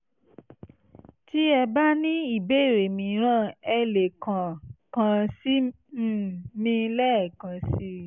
tí ẹ bá ní ìbéèrè mìíràn ẹ lè kàn kàn sí um mi lẹ́ẹ̀kan sí i